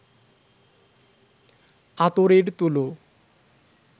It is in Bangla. আতরের তুলো